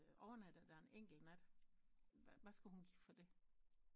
Overnattet der en enkelt nat hvad skulle hun give for det